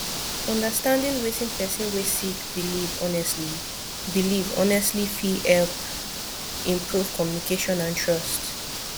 understanding wetin person wey sik biliv honestly biliv honestly fit hep improve communication and trust